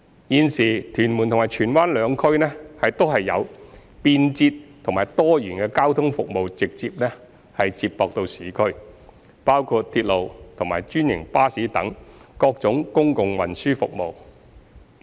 現時，屯門及荃灣兩區均有便捷及多元的交通服務直接接駁市區，包括鐵路及專營巴士等各種公共運輸服務。